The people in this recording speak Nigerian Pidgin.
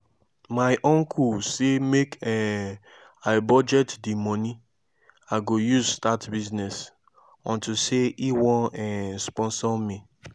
my uncle say make um i budget the money i go use start business unto say e wan um sponsor me